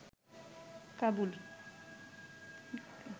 Kabul